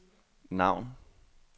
navn